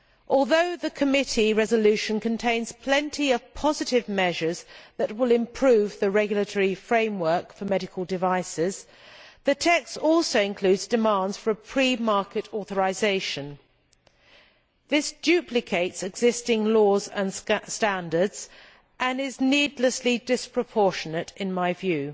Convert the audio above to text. Although the committee resolution contains plenty of positive measures that will improve the regulatory framework for medical devices, the text also includes demands for a pre market authorisation. This duplicates existing laws and standards and is needlessly disproportionate in my view.